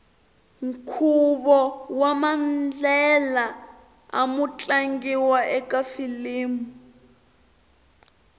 nkhuvo wamandlela amu tlangiwa ekafilimu